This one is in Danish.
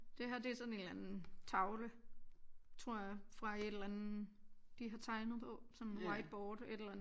Det her det er sådan en eller anden tavle tror jeg fra et eller andet de har tegnet på sådan en whiteboard et eller andet